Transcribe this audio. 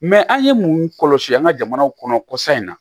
an ye mun kɔlɔsi an ka jamanaw kɔnɔ kɔsa in na